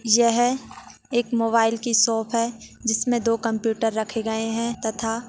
यह एक मोबाईल की शॉप है जिसमे दो कंप्यूटर रखे गए हैं तथा--